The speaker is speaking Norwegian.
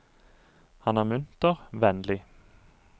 Han er munter, vennlig.